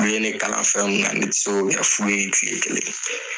U ye ne kalan fɛn mun na ne ti se k'o kɛ fu ye kile kelen .